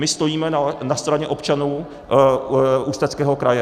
My stojíme na straně občanů Ústeckého kraje.